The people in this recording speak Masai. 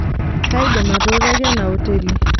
kaidim atutaki ena hoteli